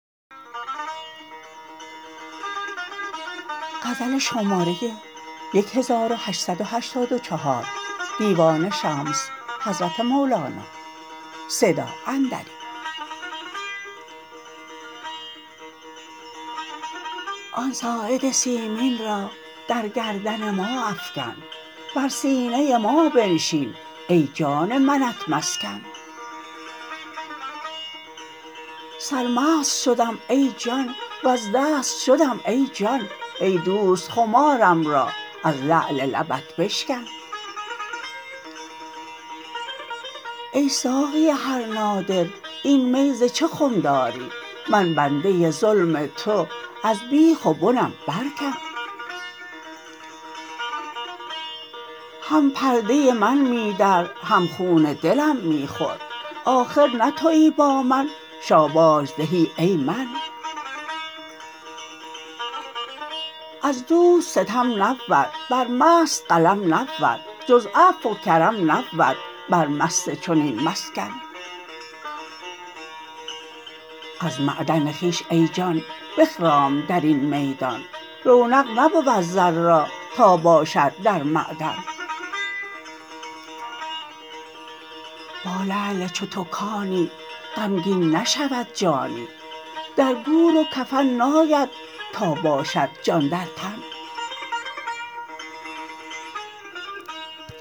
آن ساعد سیمین را در گردن ما افکن بر سینه ما بنشین ای جان منت مسکن سرمست شدم ای جان وز دست شدم ای جان ای دوست خمارم را از لعل لبت بشکن ای ساقی هر نادر این می ز چه خم داری من بنده ظلم تو از بیخ و بنم برکن هم پرده من می در هم خون دلم می خور آخر نه توی با من شاباش زهی ای من از دوست ستم نبود بر مست قلم نبود جز عفو و کرم نبود بر مست چنین مسکن از معدن خویش ای جان بخرام در این میدان رونق نبود زر را تا باشد در معدن با لعل چو تو کانی غمگین نشود جانی در گور و کفن ناید تا باشد جان در تن